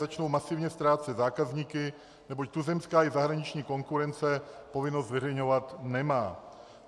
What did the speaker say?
Začnou masivně ztrácet zákazníky, neboť tuzemská i zahraniční konkurence povinnost zveřejňovat nemá.